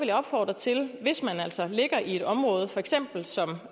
jeg opfordre til hvis man altså ligger i det område for eksempel som